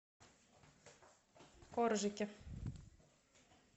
коржики